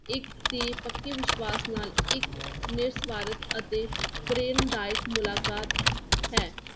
ਇੱਕ ਤੇ ਪੱਕੇ ਵਿਸ਼ਵਾਸ ਨਾਲ ਇੱਕ ਨਿਰਸਵਾਰਥ ਅਤੇ ਪ੍ਰੇਰਨਾਦਾਇਕ ਮੁਲਾਕਾਤ ਹੈ।